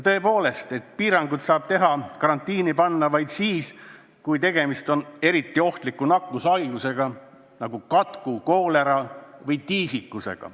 Tõepoolest, piiranguid saab kehtestada, kedagi karantiini panna vaid siis, kui tegemist on eriti ohtliku nakkushaigusega, nagu katk, koolera või tiisikus.